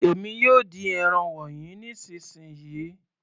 Èmi yóò dín ẹran wọnyí nísìnsisìyí.